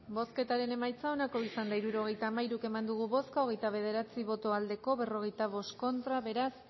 bozketaren emaitza onako izan da hirurogeita hamairu eman dugu bozka hogeita bederatzi boto aldekoa cuarenta y cinco contra beraz